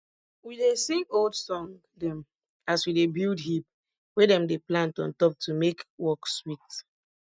we dey sing old song dem as we dey build heap wey dem dey plant on top to make work sweet